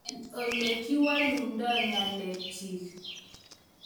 Mangen ole kiwalundoi ngalek chik